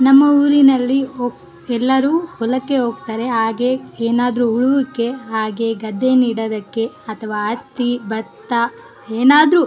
ನಮ್ಮ ಊರಿನಲ್ಲಿ ಒ ಎಲ್ಲರೂ ಹೊಲಕ್ಕೆ ಹೋಗ್ತಾರೆ ಹಾಗೆ ಏನಾದ್ರು ಉಳುವುಕೆ ಹಾಗೆ ಗದ್ದೆ ನೀಡೋದಕ್ಕೆ ಅಕ್ಕಿ ಬತ್ತ ಏನಾದ್ರು --